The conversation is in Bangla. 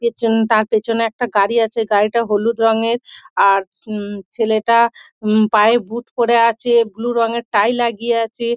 পিছনটা তার পিছনে একটা গাড়ি আছে গাড়িটা হলুদ রঙের আর উম ছেলেটা উম পায়ে বুট পরে আছে বুলু রঙের টাই লাগিয়ে আছে।